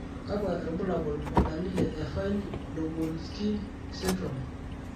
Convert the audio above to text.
kakwa irbulabol o dalili e Fine Lubinsky syndrome?